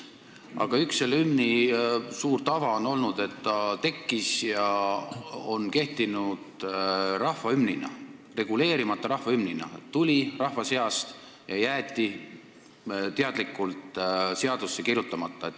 Aga üks hümniga seotud tähtis tava on olnud ka see, et see tekkis ja on kehtinud reguleerimata, rahva hümnina – see tuli rahva seast ja jäeti teadlikult seadusse kirjutamata.